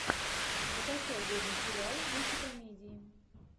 закачай годный сериал в духе комедии